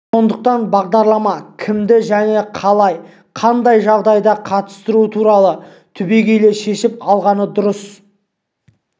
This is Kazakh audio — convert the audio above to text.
сондықтан бағдарламаға кімді және қалай қандай жағдайда қатыстыру туралы түбегейлі шешіп алған дұрыс